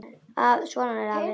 Svona er afi.